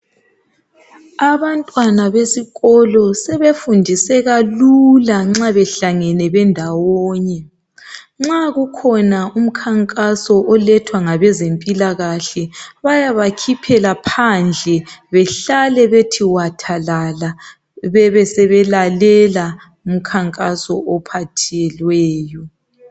abantwana besikolo sebefundiseka lula nxabehlezi bendawonye nxa kukhona umkhankaso olethwa ngabezempilakahle bayabakhiphela phandle behlale bethi wathalala bebesebe lalela umkhankaso ophathelweyo